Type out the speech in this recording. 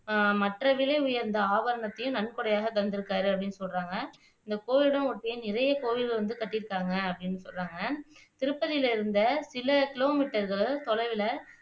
மற்ற விலை உயந்த ஆபரணத்தையும் நன்கொடையாக தந்திருக்காரு அப்படின்னு சொல்றாங்க இந்த் கோயிலை ஒட்டி நிறைய கோயில்கள் வந்து கட்டிருக்காங்க அப்படின்னு சொல்றாங்க திருப்பதில இருந்து சில கிலோமீட்டர்கள் தொலைவுல